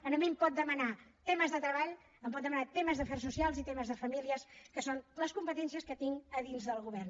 a mi em pot demanar temes de treball em pot demanar temes d’afers socials i temes de famílies que són les competències que tinc a dins del govern